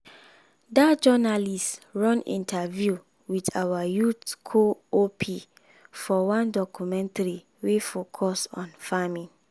that journalist run interview with our youth co-op for one documentary wey focus on farming.